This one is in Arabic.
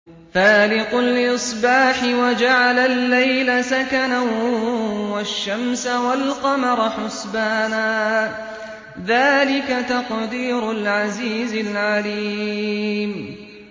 فَالِقُ الْإِصْبَاحِ وَجَعَلَ اللَّيْلَ سَكَنًا وَالشَّمْسَ وَالْقَمَرَ حُسْبَانًا ۚ ذَٰلِكَ تَقْدِيرُ الْعَزِيزِ الْعَلِيمِ